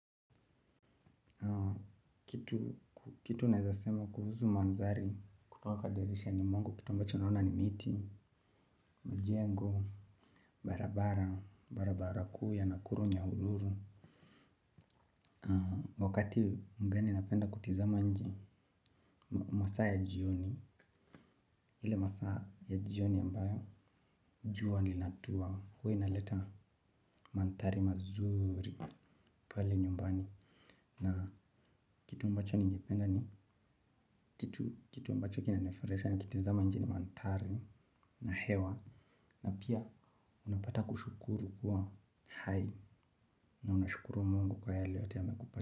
Kitu nawezasema kuhusu manzari kutoka dirishani mwangu kitu ambacho naona ni miti. Mijengo barabara, barabara kuu ya nakuru ny ururu. Wakati mgani napenda kutizama nje masaa ya jioni. Ile masaa ya jioni ambayo jua linatua huwa inaleta mandhari mazuri pale nyumbani. Na kitu ambacho ningependa ni kitu ambacho kina nifurahisha na kitazama nje ni mandhari na hewa. Na pia unapata kushukuru kuwa hai na unashukuru Mungu kwa yale yote amekupa.